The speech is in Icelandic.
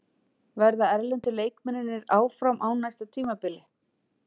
Verða erlendu leikmennirnir áfram á næsta tímabili?